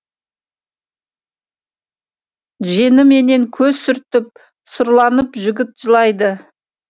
жеңіменен көз сүртіп сұрланып жігіт жылайды